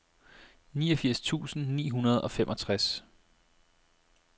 niogfirs tusind ni hundrede og femogtres